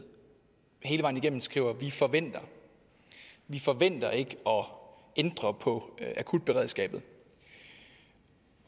hele vejen igennem skriver vi forventer vi forventer ikke at ændre på akutberedskabet